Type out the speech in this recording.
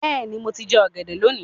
Bẹ́ẹ̀ni, mo ti jẹ́ ọ̀gẹ̀dẹ̀ lónìí